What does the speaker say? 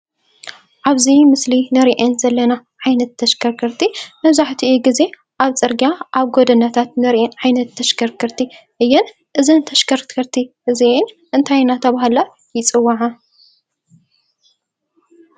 ኣብዚ ምስሊ ንሪኤን ዘለና ዓይነት ተሽከርከርቲ መብዛሕቲኡ ግዜ ኣብ ፅርግያ ኣብ ጎደና ንሪኣን ዓይነት ተሽከርከርቲ እየን። እዘን ተሽከርከርቲ እዚኣን እንታይ እንዳተባሃላ ይፅዋዓ ?